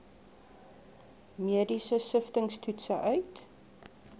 mediese siftingstoetse uit